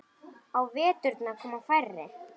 Á veturna koma færri.